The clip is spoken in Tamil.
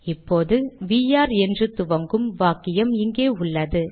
இப்போது வி ஆர் என்று துவங்கும் வாக்கியம் இங்கே உள்ளது